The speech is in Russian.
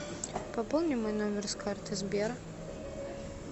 пополни мой номер с карты сбера